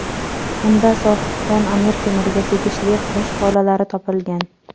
Unda Sohibqiron Amir Temurga tegishli qosh tolalari topilgan.